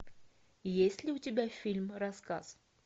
есть ли у тебя фильм рассказ